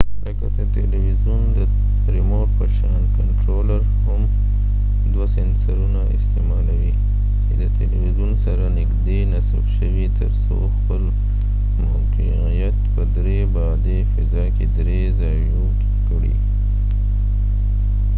لکه د تلویزون د ریموټ په شان کنټرولر هم دوه سنسرونه استعمالوي چې د تلویزون سره نږدې نصب شوي تر څو خپل موقعیت په درې بعدي فضا کې درې زاویوي کړي